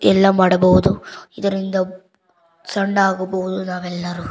ಎಲ್ಲ ಮಾಡಬಹುದು ಇದರಿಂದ ಸಣ್ಣ ಆಗಬಹುದು ನಾವೆಲ್ಲರೂ.